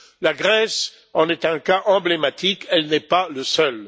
la Grèce en est un cas emblématique et elle n'est pas le seul.